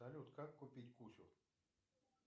салют как купить кучу